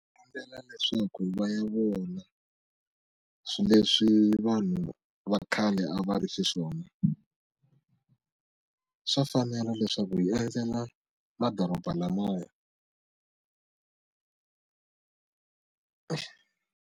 Endlela leswaku va ya vona leswi vanhu va khale a va ri xiswona swa fanela leswaku hi endzela madoroba lamaya.